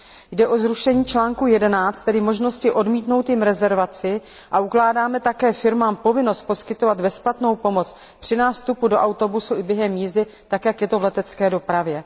Jde o zrušení článku 11, tedy možnosti odmítnout jim rezervaci, a ukládáme také firmám povinnost poskytovat bezplatnou pomoc při nástupu do autobusu i během jízdy, tak jak je to v letecké dopravě.